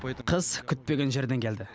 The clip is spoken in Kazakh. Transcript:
қыс күтпеген жерден келді